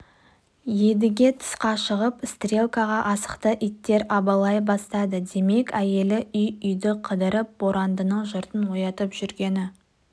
едіге тысқа шығып стрелкаға асықты иттер абалай бастады демек әйелі үй-үйді қыдырып борандының жұртын оятып жүргені